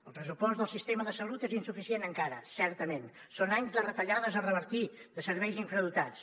el pressupost del sistema de salut és insuficient encara certament són anys de retallades a revertir de serveis infradotats